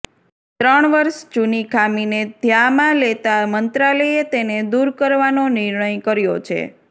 ત્રણ વર્ષ જૂની ખામીને ધ્યામાં લેતા મંત્રાલયે તેને દૂર કરવાનો નિર્ણય કર્યો છે